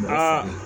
Aa